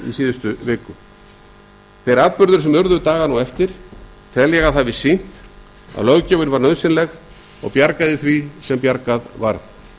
síðustu viku þeir atburðir sem urðu dagana á eftir tel ég að hafi sýnt að löggjöfin var nauðsynleg og bjargaði því sem bjargað varð